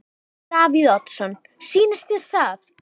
Davíð Oddsson: Sýnist þér það?